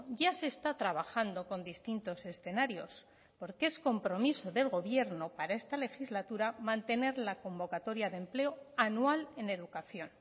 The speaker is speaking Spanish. ya se está trabajando con distintos escenarios porque es compromiso del gobierno para esta legislatura mantener la convocatoria de empleo anual en educación